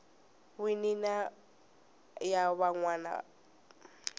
wini na ya van wana